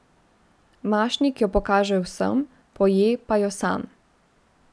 Mašnik jo pokaže vsem, poje pa jo sam.